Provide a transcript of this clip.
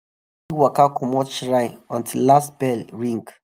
nobody fit waka commot shrine until last bell ring.